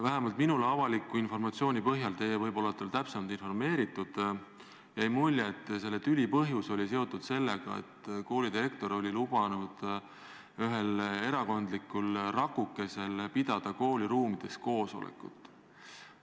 Vähemalt minule teadaoleva avaliku informatsiooni põhjal – teie võib-olla olete täpsemalt informeeritud – on jäänud mulje, et selle tüli põhjus oli seotud sellega, et koolidirektor oli lubanud ühel erakondlikul rakukesel pidada kooli ruumides koosolekut.